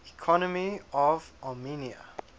economy of armenia